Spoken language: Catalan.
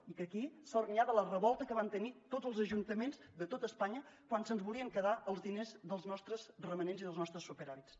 i que aquí sort n’hi ha de la revolta que van tenir tots els ajuntaments de tot espanya quan se’ns volien quedar els diners dels nostres romanents i dels nostres superàvits